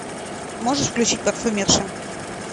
можешь включить парфюмерша